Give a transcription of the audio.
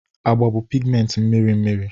Agba bụ pigmenti mmiri mmiri.